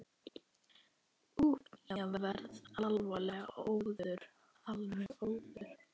Úff, ég verð alveg óður.